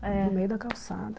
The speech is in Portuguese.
É, no meio da calçada.